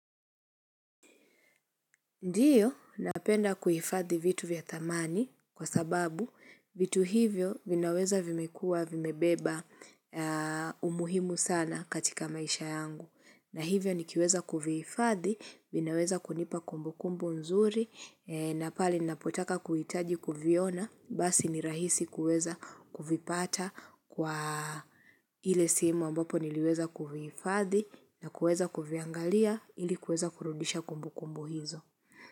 Ndiyo, napenda kuifathi vitu vya thamani kwa sababu vitu hivyo vinaweza vimekuwa vimebeba umuhimu sana katika maisha yangu. Na hivyo nikiweza kuvihifathi, vinaweza kunipa kumbukumbu nzuri, na pale napotaka kuhitaji kuviona, basi ni rahisi kuweza kuvipata kwa ili simu ambapo niliweza kuviifathi na kuweza kuviangalia ili kuweza kurudisha kumbu kumbu hizo.